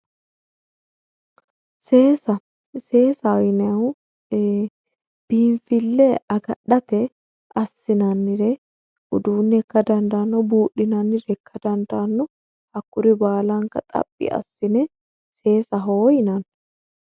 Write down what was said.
Seesaa seesaho yinanihu biinfille agadhate assinannire uduunne ikka dandaanno buudhinannire ikka dandaanno hakkuri baalanka xaphi assine seesaa yaa dandiinanni